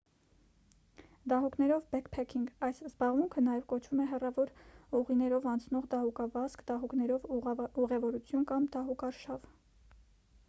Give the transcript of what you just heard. դահուկներով բեքփեքինգ այս զբաղմունքը նաև կոչվում է հեռավոր ուղիներով անցնող դահուկավազք դահուկներով ուղևորություն կամ դահուկարշավ